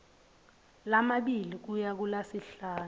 lamabili kuya kulasihlanu